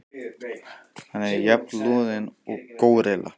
Hann er jafn loðinn og górilla.